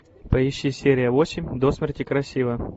поищи серия восемь до смерти красива